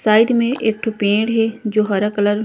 side में एक ठो पीड़ हे जो हरा कलर --